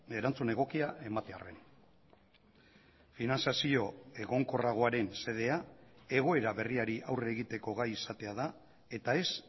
erantzun egokia ematearren finantzazio egonkorragoaren xedea egoera berriari aurre egiteko gai izatea da eta ez